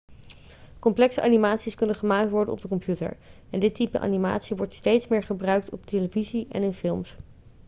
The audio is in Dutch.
complexe animaties kunnen gemaakt worden op de computer en dit type animatie wordt steeds meer gebruikt op televisie en in films